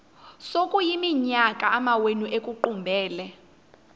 sekuyiminyaka amawenu ekuqumbele